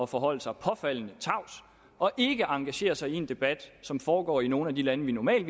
forholde sig påfaldende tavs og ikke engagere sig i en debat som foregår i nogle af de lande vi normalt